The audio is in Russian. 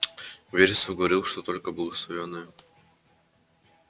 вересов говорил что только благословенные